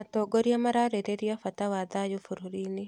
Atongoria mararĩrĩria bata wa thayũ bũrũri-inĩ